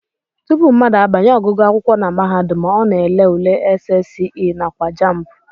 Tupu mmadụ abanye ọgụgụ akwụkwọ na mahadum, ọ na-ele ule SSCE nakwa JAMB